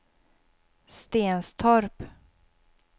Stenstorp